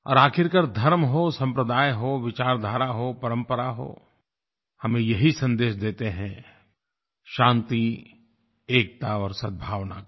और आखिरकार धर्म हो सम्प्रदाय हो विचारधारा हो परंपरा हो हमें यही सन्देश देते हैं शान्ति एकता और सद्भावना का